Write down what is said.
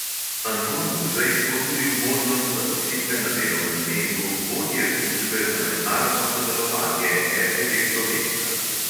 Anton guzej ponudil možnost zaposlitve na delovnem mestu vodje službe za mednarodno sodelovanje RTV slovenija.